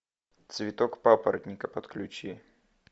цветок папоротника подключи